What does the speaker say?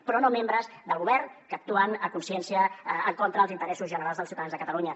però no membres del govern que actuen a consciència en contra dels interessos generals dels ciutadans de catalunya